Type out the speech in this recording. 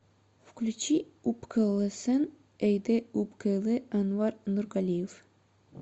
включи упкэлэсэн эйдэ упкэлэ анвар нургалиев